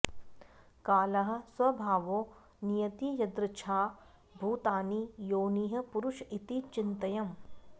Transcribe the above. कालः स्वभावो नियतिर्यदृच्छा भूतानि योनिः पुरुष इति चिन्त्यम्